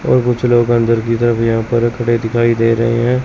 और कुछ लोग अंदर की तरफ यहां पर खड़े दिखाई दे रहे हैं।